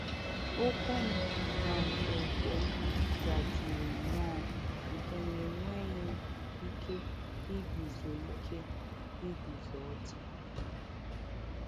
Ụkwụ m na nkwonkwo m zajuru nnọọ nke na enweghị m ike iguzo ike iguzo ọtọ.